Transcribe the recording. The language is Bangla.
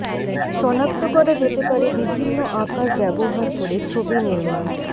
সনাক্ত করা যেতে পারে বিভিন্ন আকার ব্যবহার করে ছবি নির্মাণ